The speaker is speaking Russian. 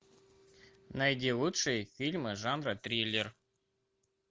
найди лучшие фильмы жанра триллер